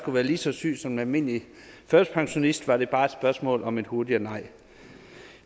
være lige så syg som en almindelig førtidspensionist var det bare et spørgsmål om et hurtigere nej